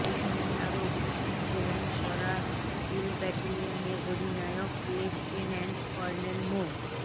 এ সময় আরও উপস্থিত ছিলেন সরাইল ব্যাটালিয়নের অধিনায়ক লেফটেন্যান্ট কর্নেল মো